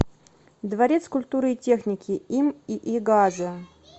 дворец культуры и техники им ии газа